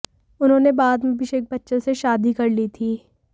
उन्होंने बाद में अभिषेक बच्चन से शादी कर ली थी